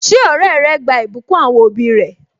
Ṣé ọrẹ rẹ gba ìbùkún àwọn òbí rẹ?